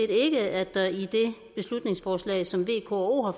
ikke at der i det beslutningsforslag som v k og o har